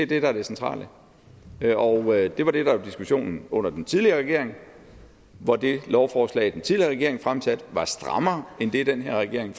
det der er det centrale og det var det der var diskussionen under den tidligere regering hvor det lovforslag den tidligere regering fremsatte var strammere end det den her regering